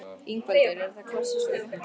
Ingveldur: Er það klassískur rúntur?